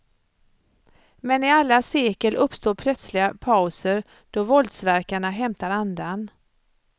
Men i alla sekel uppstår plötsliga pauser då våldsverkarna hämtar andan.